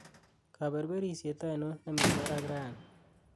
kaberberisyet ainon nemi barak rani